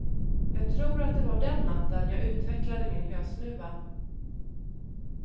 Jag tror att det var den natten jag utvecklade min hösnuva.